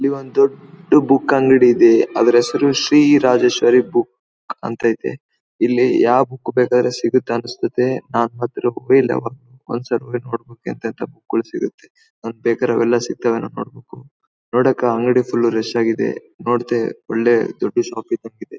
ಇಲ್ಲಿ ಒಂದು ದೊಡ್ದು ಬುಕ್ ಅಂಗಡಿ ಇದೆ ಅದರ ಹೆಸರು ಶ್ರೀ ರಾಜೇಶ್ವರಿ ಬುಕ್ ಅಂತ ಇದೆ ಇಲ್ಲಿ ಯಾವ ಬುಕ್ ಬೇಕಾದರೆ ಸಿಗುತ್ತೆ ಅನ್ಸ್ತತೆ ನನಿಗೆ ಬೇಕಾಗಿರೋ ಅವೆಲ್ಲ ಸಿಗ್ತವೇನೋ ನೋಡ್ಬೇಕು ನೋಡಕ್ಕೆ ಆ ಅಂಗಡಿ ಫುಲ್ ರಶ್ ಆಗಿದೆ. ನೋಡ್ದೆ ಒಳ್ಳೆ ದೊಡ್ಡು ಷಾಪ್ ಇದ್ದಂಗಿದೆ .